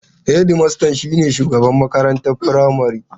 Hedmasta shine shugaban makarantar firamare.